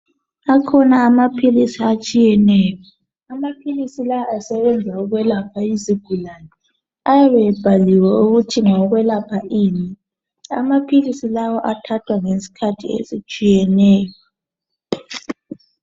Akhona amaphilisi etshiyeneyo, amaphilisi lawa asebenza ukwelapha izigulane. Ayabe ebhaliwe ukuthi ngawokwelapha ini. Amaphilisi lawa athathwa ngesikhathi esitshiyeneyo.